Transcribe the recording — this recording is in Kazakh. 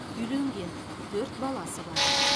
үйленген төрт баласы бар